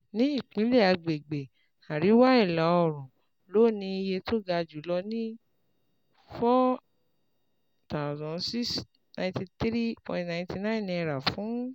Ní ìpìlẹ̀ àgbègbè, àríwá ìlà oòrùn ló ní iye tó ga jù lọ ní N4,693.99 fún